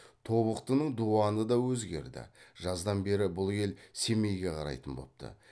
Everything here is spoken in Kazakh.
тобықтының дуаны да өзгерді жаздан бері бұл ел семейге қарайтын бопты